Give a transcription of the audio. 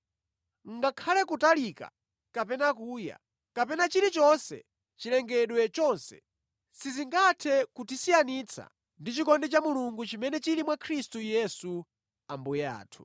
ngakhale kutalika, kapena kuya, kapena chilichonse mʼchilengedwe chonse, sizingathe kutisiyanitsa ndi chikondi cha Mulungu chimene chili mwa Khristu Yesu Ambuye athu.